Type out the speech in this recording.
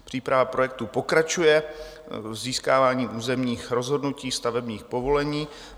Příprava projektů pokračuje získáváním územních rozhodnutí, stavebních povolení.